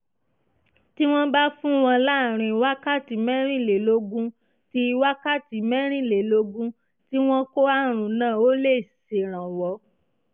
tí wọ́n bá fún wọn láàárín wákàtí mẹ́rìnlélógún tí wákàtí mẹ́rìnlélógún tí wọ́n kó àrùn náà ó lè ṣèrànwọ́